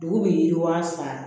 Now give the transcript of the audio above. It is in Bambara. Dugu bi yiriwa san